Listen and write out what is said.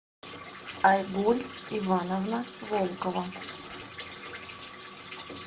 айгуль ивановна волкова